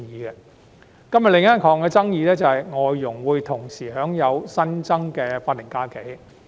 今天的另一項爭議，是外籍家庭傭工會同時享有新增的法定假日。